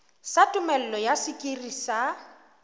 sa tumello ya sekiri sa